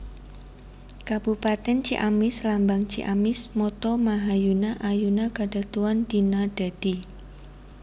Kabupatèn CiamisLambang CiamisMotto Mahayuna Ayuna Kadatuan Dina Dadi